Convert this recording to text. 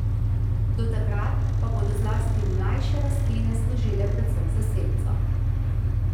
Do takrat, pa bodo zlasti mlajše rastline služile predvsem za senco.